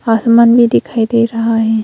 आसमान भी दिखाई दे रहा है।